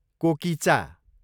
कोकिचा